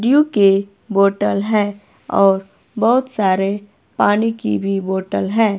Due के bottle है और बहुत सारे पानी की भी बॉटल है।